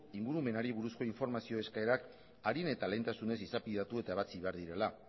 ingurumenari buruzko informazio eskaerak arin eta lehentasunez izapidetu eta ebatzi behar direla